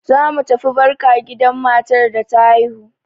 Zamu tafi barka gidan matar da ta haihu.